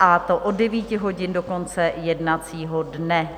a to od 9 hodin do konce jednacího dne.